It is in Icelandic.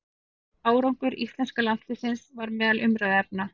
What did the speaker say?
Árangur íslenska landsliðsins var meðal umræðuefna.